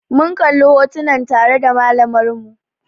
Mun kalla hotunan tare da malamar mu